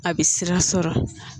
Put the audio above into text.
A bɛ sira sɔrɔ